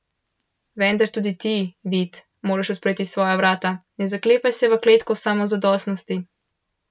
Vendar, tudi ti, Vid, moraš odpreti svoja vrata, ne zaklepaj se v kletko samozadostnosti.